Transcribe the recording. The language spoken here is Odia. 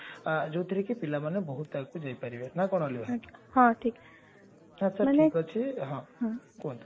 ଯଉଥିରେ କି ପିଲାମାନେ ବହୁତ ଆଗକୁ ଯାଇପାରିବେ ନା କଣ ଅଲିଭା ହଁ ଠିକ ଆଛା ଠିକ ଅଛି ହଁ କୁହନ୍ତୁ